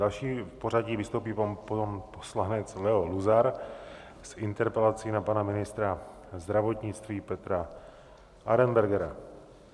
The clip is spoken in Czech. Další v pořadí vystoupí pan poslanec Leo Luzar s interpelací na pana ministra zdravotnictví Petra Arenbergera.